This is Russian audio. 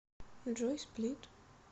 джой сплит